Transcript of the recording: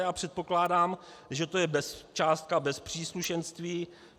Já předpokládám, že to je částka bez příslušenství.